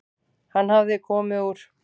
Hann hafði komið úr